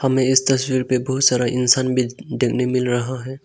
हमें इस तस्वीर पे बहुत सारा इंसान भी देखने मिल रहा है।